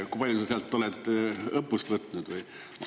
Kui palju sa sealt olete õppust võtnud?